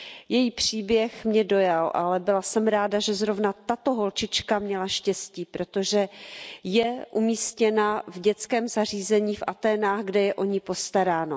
Její příběh mě dojal, ale byla jsem ráda, že zrovna tato holčička měla štěstí, protože je umístěna v dětském zařízení v Aténách, kde je o ni postaráno.